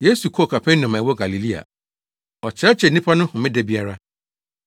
Yesu kɔɔ Kapernaum a ɛwɔ Galilea. Ɔkyerɛkyerɛɛ nnipa no homeda biara.